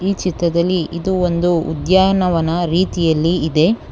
ಈ ಚಿತ್ರದಲ್ಲಿ ಇದು ಒಂದು ಉದ್ಯಾನವನ ರೀತಿಯಲ್ಲಿ ಇದೆ.